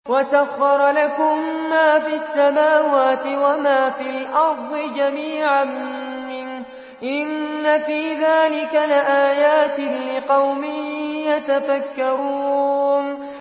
وَسَخَّرَ لَكُم مَّا فِي السَّمَاوَاتِ وَمَا فِي الْأَرْضِ جَمِيعًا مِّنْهُ ۚ إِنَّ فِي ذَٰلِكَ لَآيَاتٍ لِّقَوْمٍ يَتَفَكَّرُونَ